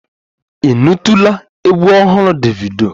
Ị nụtụla egwu ọhụrụ Davido?